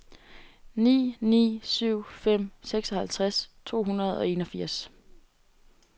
ni ni syv fem seksoghalvtreds to hundrede og enogfirs